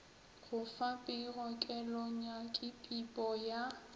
go fa pego kelonyakipipo ye